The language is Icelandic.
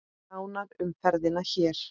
Nánar um ferðina hér.